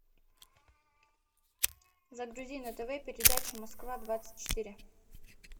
загрузи на тв передачу москва двадцать четыре